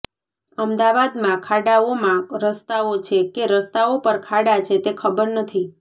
અમદાવાદમાં ખાડાઓમાં રસ્તાઓ છે કે રસ્તાઓ પર ખાડા છે તે ખબર નથી